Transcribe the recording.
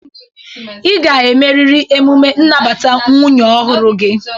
Ị ga-emeriri emume nnabata nwunye ọhụrụ gị.